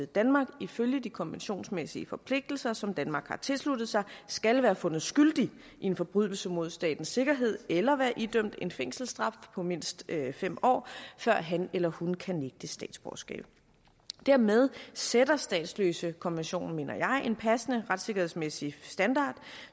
danmark ifølge de konventionsmæssige forpligtelser som danmark har tilsluttet sig skal være fundet skyldig i en forbrydelse mod statens sikkerhed eller være idømt en fængselsstraf på mindst fem år før han eller hun kan nægtes statsborgerskab dermed sætter statsløsekonventionen mener jeg en passende retssikkerhedsmæssig standard